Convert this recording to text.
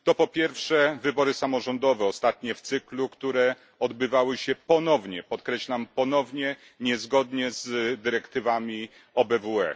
To po pierwsze wybory samorządowe, ostatnie w cyklu, które odbywały się ponownie, podkreślam ponownie, niezgodnie z dyrektywami OBWE.